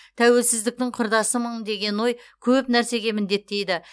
тәуелсіздіктің құрдасымын деген ой көп нәрсеге міндеттейді